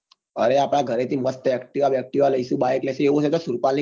અરે આપડા ગરે થી મસ્ત activa બેક્તીવા લઈશું બાઈક લાઈસુ એવું નહિ તો સુરપાલ ની car લઈશું